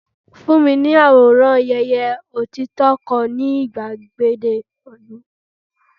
fún mi ní àwòrán ayeye otito kan ni igbagede ilu